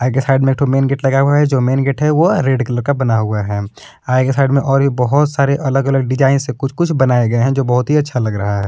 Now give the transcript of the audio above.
जिस साइड में एक ठो मेन गेट है जो मेन गेट है वह रेड कलर का बना हुआ है आगे के साइड में और यह बहुत सारे अलग अलग डिज़ाइन से कुछ कुछ बनाये गये है जो बहुत ही अच्छा लग रहा है।